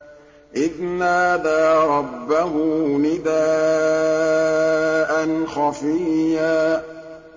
إِذْ نَادَىٰ رَبَّهُ نِدَاءً خَفِيًّا